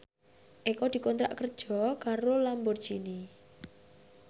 Eko dikontrak kerja karo Lamborghini